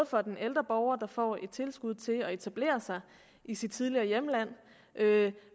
for den ældre borger der får et tilskud til at etablere sig i sit tidligere hjemland